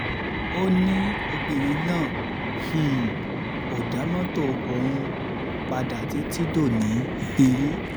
ó ní ní obìnrin náà um kò dá mọ́tò ọ̀hún padà títí dòní um